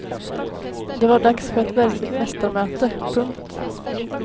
Det var dags för ett verkligt mästarmöte. punkt